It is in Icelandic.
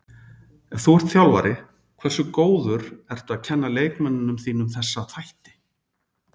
Ef þú ert þjálfari, hversu góður ertu að kenna leikmönnunum þínum þessa þætti?